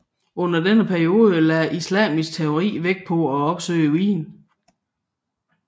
Under denne periode lagde islamisk teologi vægt på at opsøge viden